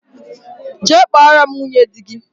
Jee kpọrọ m nwunye dị gị